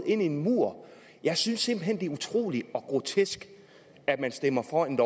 en mur jeg synes simpelt hen det er utroligt og grotesk at man stemmer for et